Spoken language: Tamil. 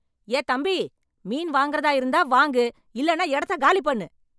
ஏ! தம்பி. மீன் வாங்கறதா இருந்தா வாங்கு, இல்லன்னா எடத்தக் காலி பண்ணு.